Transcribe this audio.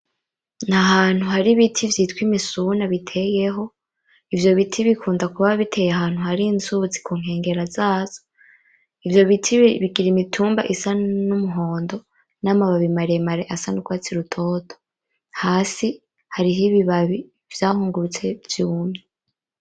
N’ahantu hari ibiti vyitwa imisuna biteyeho; ivyo biti bikunda kuba biteye ahantu hari inzunzi ku nkengera zazo. Ivyo biti bigira imitumba isa n’umuhondo n’amababi maremare asa n’urwatsi rutoto. Hasi hariho ibibabi vyahungurutse vyumye.